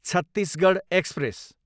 Chhattisgarh express